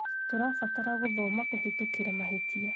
tũrabatara gũthoma kũhĩtũkĩra mahĩtia